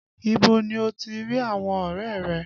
Ibo ni o ti rí àwọn ọrẹ rẹ?